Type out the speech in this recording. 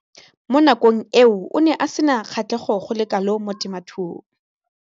Mo nakong eo o ne a sena kgatlhego go le kalo mo temothuong.